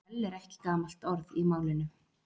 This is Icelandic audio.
sprell er ekki gamalt orð í málinu